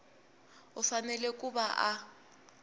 u fanele ku va a